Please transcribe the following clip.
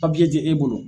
ti e bolo